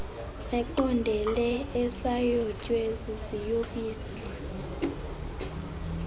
eqondele esayotywe ziziyobisi